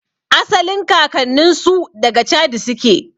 Asalin kakannninsu daga chadi suke